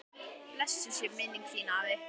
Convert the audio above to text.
Blessuð sé minning þín, afi.